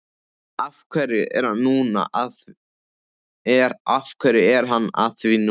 Af hverju er hann að því núna?